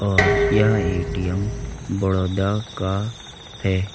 और यह ए_टी_एम बड़ौदा का है।